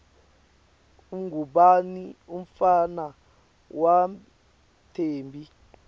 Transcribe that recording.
ungubani umntfwana wathembi